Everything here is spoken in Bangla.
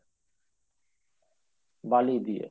বালি দিয়ে